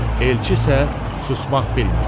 Elçi isə susmaq bilmirdi.